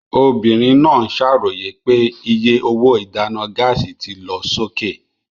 Obìnrin náà ń ṣàròyé pé iye owó ìdáná gáàsì ti lọ sókè.